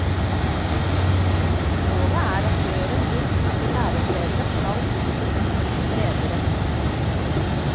Målet er at døren inn til lærestedene skal bli bredere.